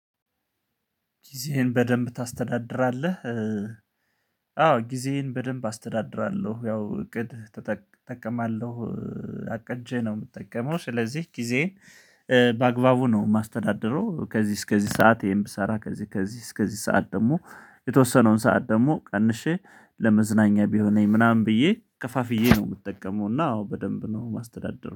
ጊዜህን በደንብ ታስተዳድራለህ? አዎ ጊዜዬን በደንብ አስተዳድራለሁ ያው እቅድ ተእጠቅማለሁ አቀጄ ነው የምጠቀመው ስለዚህ ጊዜዬን በአግባቡ ነው የማስተዳደረው ከዚህ እስከዚህ ሰዓት ይሄን ብሰራ ከዚህ ከዚህ እስከዚህ ሰዓት ደግሞ የተወሰነውን ሰዓት ደግሞ ቀንሼ ለመዝናኛ ቢሆነኝ ምናምን ብዬ ከፋፍዬ ነው የምጠቀመው እና አዎ በደንብ ነው ማስተዳድረው